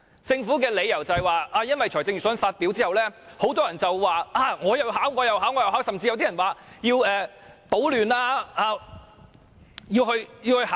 政府表示，這是因為預算案發表後，很多人都說要去參加考試，甚至有些人更說要去搗亂。